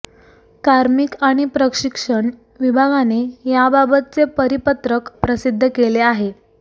कार्मिक आणि प्रशिक्षण विभागाने याबाबतचे परिपत्रक प्रसिद्ध केले आहे